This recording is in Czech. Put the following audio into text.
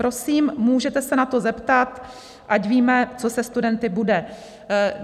Prosím, můžete se na to zeptat, ať víme, co se studenty bude?